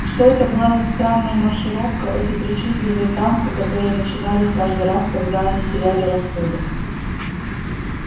что это была за странная маршировка эти причудливые танцы которые начинались каждый раз когда они теряли рассудок